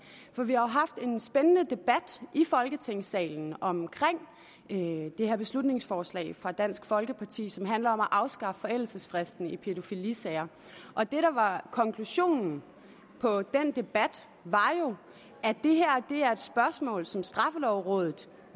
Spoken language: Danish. vi har jo haft en spændende debat i folketingssalen om det her beslutningsforslag fra dansk folkeparti som handler om at afskaffe forældelsesfristen i pædofilisager og det der var konklusionen på den debat var at det her er et spørgsmål som straffelovrådet